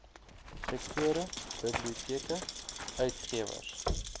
sektore biblioteke uitgewers